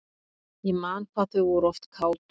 Ég man hvað þau voru oft kát.